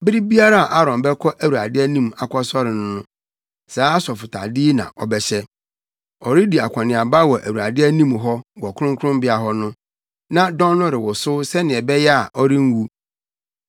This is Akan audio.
Bere biara a Aaron bɛkɔ Awurade anim akɔsɔre no, saa asɔfotade yi na ɔbɛhyɛ. Ɔredi akɔneaba wɔ Awurade anim hɔ wɔ kronkronbea hɔ no, na dɔn no rewosow sɛnea ɛbɛyɛ a ɔrenwu.